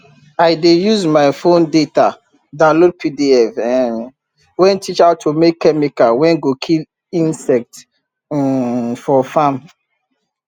i dey use my fon data download pdf um wey teach how to make chemical wey go kill insect um for farm